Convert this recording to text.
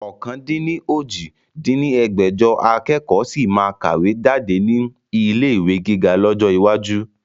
ọ̀kan-dín-ní-ojì dín ní ẹgbẹ́jọ akẹ́kọ̀ sì máa kàwé jáde ní ilé ìwé gíga lọ́jọ́ iwájú